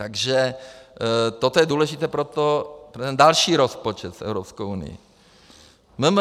Takže toto je důležité pro ten další rozpočet s Evropskou unií.